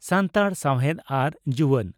ᱥᱟᱱᱛᱟᱲ ᱥᱟᱣᱦᱮᱫ ᱟᱨ ᱡᱩᱣᱟᱹᱱ